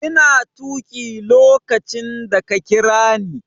Ina tuƙi lokacin da ka kira ni.